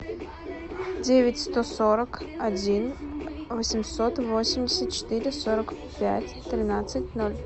девять сто сорок один восемьсот восемьдесят четыре сорок пять тринадцать ноль